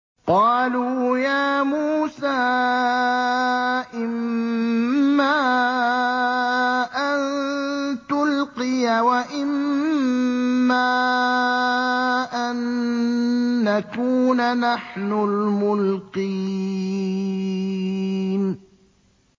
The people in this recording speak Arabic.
قَالُوا يَا مُوسَىٰ إِمَّا أَن تُلْقِيَ وَإِمَّا أَن نَّكُونَ نَحْنُ الْمُلْقِينَ